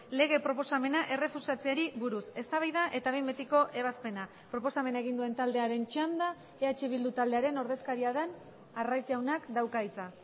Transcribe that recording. lege proposamena errefusatzeari buruz eztabaida eta behin betiko ebazpena proposamena egin duen taldearen txanda eh bildu taldearen ordezkaria den arraiz jaunak dauka hitza